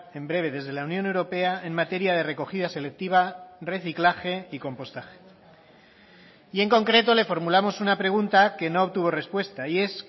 en breve desde la unión europea en materia de recogida selectiva reciclaje y compostaje y en concreto le formulamos una pregunta que no obtuvo respuesta y es